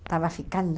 Estava ficando.